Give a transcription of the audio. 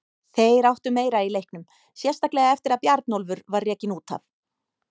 Þeir áttu meira í leiknum, sérstaklega eftir að Bjarnólfur var rekinn út af.